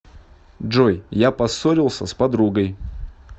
джой я поссорился с подругой